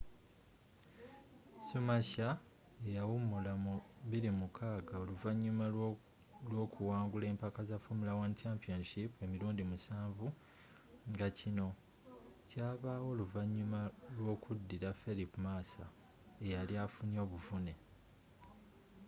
schumacher e yawumula mu 2006 oluvanyuma lw'okuwangula empaka za formula 1 championship emirundi musanvu nga kino kyabawo oluvanyuma lw'okudiira felipe massa eyali afunye obuvune